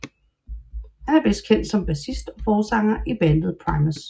Han er bedst kendt som bassist og forsanger i bandet Primus